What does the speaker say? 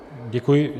Děkuji.